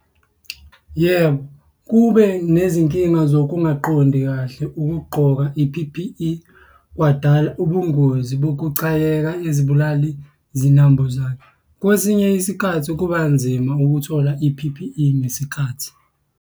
Yebo, kube nezinkinga zokungaqondi kahle ukugqoka i-P_P_E, kwadala ubungozi bokucakeka izibulali zinambuzane. Kwesinye isikhathi kuba nzima ukuthola i-P_P_E ngesikhathi.